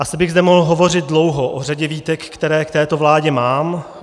Asi bych zde mohl hovořit dlouho o řadě výtek, které k této vládě mám.